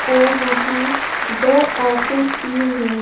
और यहां दो ऑफिस भी हैं।